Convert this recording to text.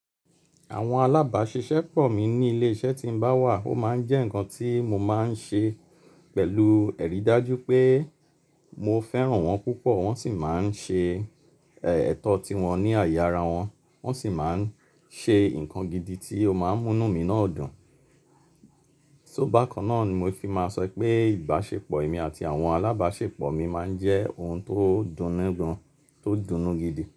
Àwọn alábáṣiṣẹ́ pọ̀ mí ní ilé iṣẹ́ tí n bá wà, ó máa ń jẹ́ ǹkan tí mo máa ń ṣe pẹ̀lú ẹ̀rí dájú pé mo fẹ́ràn wọn púpọ̀, wọ́n sì máa ń ṣe, ẹ́, ẹ̀tọ́ tiwọn ní àyè ara wọn, wọ́n sì máa ń ṣe ǹkan gidi tí ó máa ń mú mí náà dùn. So bákan náà ni mo fi máa sọ wípé ìbáṣepọ̀ èmi àti àwọn alábáṣepọ̀ mi máa ń jẹ́ ohun tó dunnígun, tó dunú gidi.